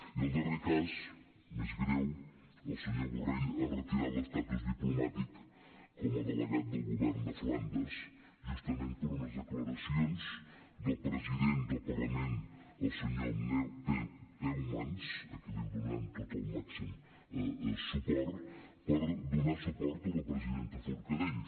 i el darrer cas més greu el senyor borrell ha retirat l’estatus diplomàtic com a delegat del govern de flandes justament per unes declaracions del president del parlament el senyor peumans a qui donem tot el màxim suport per donar suport a la presidenta forcadell